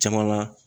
Caman na